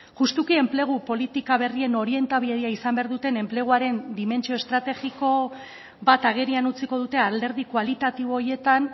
justuki enplegu politika berrien orientabidea izan behar duten enpleguaren dimentsio estrategiko bat agerian utziko dute alderdi kualitatibo horietan